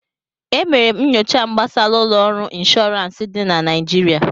E mere m nyocha m gbasara ụlọ ọrụ ịnshọọransị dị na Naịjirịa